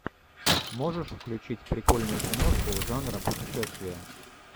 можешь включить прикольную киношку жанра путешествие